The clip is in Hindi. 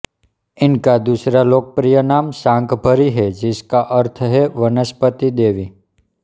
इनका दूसरा लोकप्रिय नाम शाकंभरी है जिसका अर्थ है वनस्पति देवी